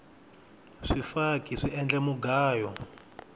swifaki swi endla mugayo